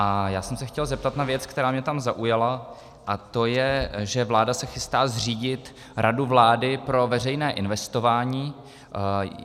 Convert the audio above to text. A já jsem se chtěl zeptat na věc, která mě tam zaujala, a to je, že vláda se chystá zřídit radu vlády pro veřejné investování.